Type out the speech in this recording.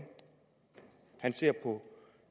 han ser på